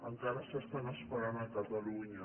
encara s’estan esperant a catalunya